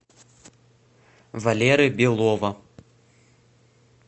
валеры белова